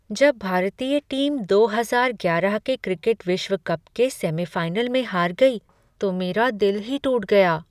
जब भारतीय टीम दो हजार ग्यारह के क्रिकेट विश्व कप के सेमीफ़ाइनल में हार गई तो मेरा दिल ही टूट गया।